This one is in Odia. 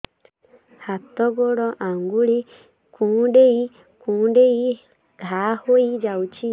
ହାତ ଗୋଡ଼ ଆଂଗୁଳି କୁଂଡେଇ କୁଂଡେଇ ଘାଆ ହୋଇଯାଉଛି